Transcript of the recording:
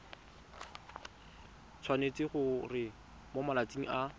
tshwanetse gore mo malatsing a